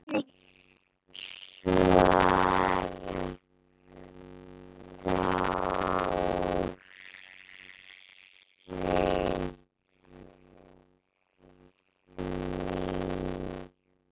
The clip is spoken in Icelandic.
Hvernig svarar Þórir því?